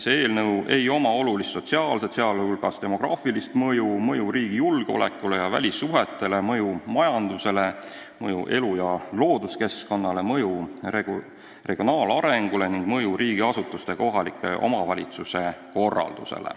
Sellel eelnõul ei ole olulist sotsiaalset, sh demograafilist mõju, mõju riigi julgeolekule ja välissuhetele, mõju majandusele, mõju elu- ja looduskeskkonnale, mõju regionaalarengule ega mõju riigiasutuste ja kohaliku omavalitsuse korraldusele.